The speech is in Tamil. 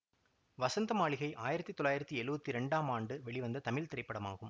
வசந்த மாளிகை ஆயிரத்தி தொள்ளாயிரத்தி எழுவத்தி இரண்டாம் ஆண்டு வெளிவந்த தமிழ் திரைப்படமாகும்